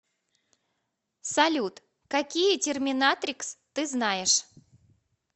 салют какие терминатрикс ты знаешь